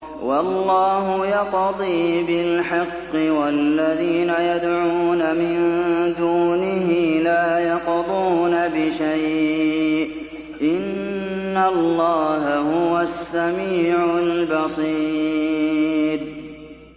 وَاللَّهُ يَقْضِي بِالْحَقِّ ۖ وَالَّذِينَ يَدْعُونَ مِن دُونِهِ لَا يَقْضُونَ بِشَيْءٍ ۗ إِنَّ اللَّهَ هُوَ السَّمِيعُ الْبَصِيرُ